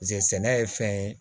sɛnɛ ye fɛn ye